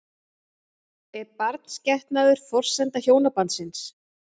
Er barnsgetnaður forsenda hjónabandsins?